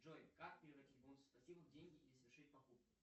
джой как превратить бонусы спасибо в деньги и совершить покупку